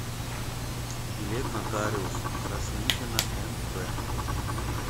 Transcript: билет нотариус краснихина нв